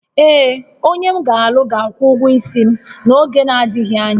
Ee, onye m ga-alụ ga-akwụ ụgwọ isi m n'oge na-adịghị anya